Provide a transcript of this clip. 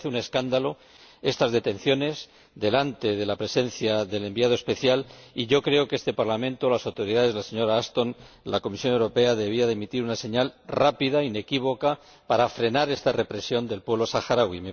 Me parecen un escándalo estas detenciones en presencia del Enviado especial y yo creo que este Parlamento, las autoridades de la señora Ashton y la Comisión Europea deberían emitir una señal rápida e inequívoca para frenar esta represión del pueblo saharaui.